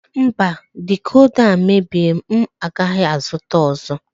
Mba decoda a mebie m agaghị azụta ọzọ.